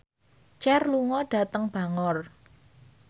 Cher lunga dhateng Bangor